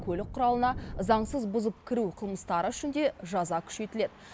көлік құралына заңсыз бұзып кіру қылмыстары үшін де жаза күшейтіледі